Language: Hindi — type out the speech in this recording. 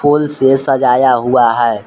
फूल से सजाया हुआ है।